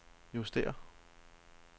justér